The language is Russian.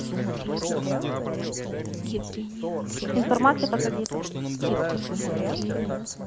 информация по кредиту